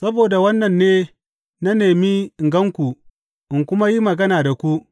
Saboda wannan ne na nemi in gan ku in kuma yi magana da ku.